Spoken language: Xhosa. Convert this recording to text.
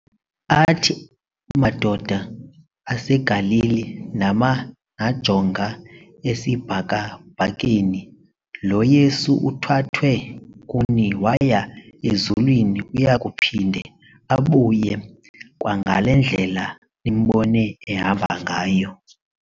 Athi "madoda aseGalili nama najonga esibhakabhakeni? lo Yesu uthwathwe kuni waya ezulwini uyakuphinde abuye kwangalendlela nimbone ehamba ngayo."